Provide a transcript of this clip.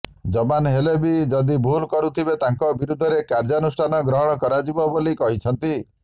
ଯବାନ ହେଲେ ବି ଯଦି ଭୁଲ କରିଥିବେ ତାଙ୍କ ବିରୋଧରେ କାର୍ଯ୍ୟାନୁଷ୍ଠାନ ଗ୍ରହଣ କରାଯିବ ବୋଲି କହିଛନ୍ତି